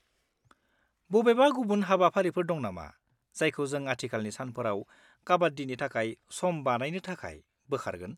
बबेबा गुबुन हाबाफारिफोर दं नामा जायखौ जों आथिखालनि सानफोराव काबाड्डिनि थाखाय सम बानायनो थाखाय बोखारगोन?